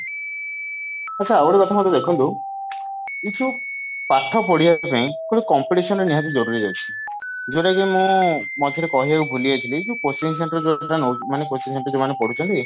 ଆଛା ଆଉ ଗୋଟେ କଥା ଦେଖନ୍ତୁ ଏଇ ସବୁ ପାଠ ପଢିବା ପାଇଁ ଗୋଟେ competition ଟେ ନିହାତି ଜରୁରୀ ଅଛି ଯଉଟା କି ମୁଁ ମଝିରେ କହିବାକୁ ଭୁଲିଯାଇଥିଲି ଯଉ coaching centre ଯଉ ପିଲା ମାନେ coaching centre ରେ ଯାଉମାନେ ପଢୁଛନ୍ତି